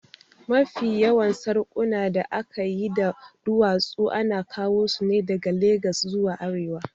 Mafi yawan sarƙunan da aka yi da duwatsu ana kawo su ne daga Legas zuwa arewa